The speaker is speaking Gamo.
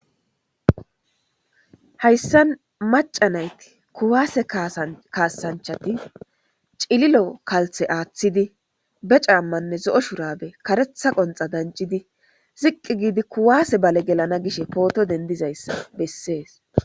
Hayssan maca naya kuwase kasanichati cililo kalise atidi ba camane kareta shurabe zo'o danchidi ziqqi giddi kuwase gelana gishe poto denidishe beeses.